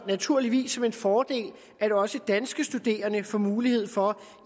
naturligvis som en fordel at også danske studerende får mulighed for